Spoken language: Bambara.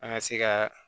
An ka se ka